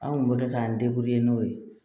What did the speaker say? An kun bɛ k'an n'o ye